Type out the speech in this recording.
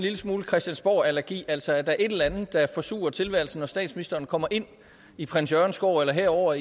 lille smule christiansborgallergi altså at der er et eller andet der forsurer tilværelsen når statsministeren kommer ind i prins jørgens gård eller her over